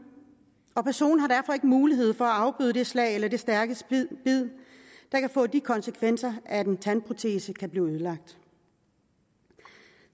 og personen har derfor ikke mulighed for at afbøde det slag eller det stærke bid der kan få de konsekvenser at en tandprotese kan blive ødelagt